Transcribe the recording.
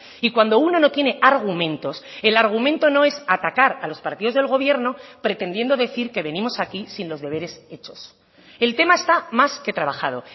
y cuando uno no tiene argumentos el argumento no es atacar a los partidos del gobierno pretendiendo decir que venimos aquí sin los deberes hechos el tema está más que trabajado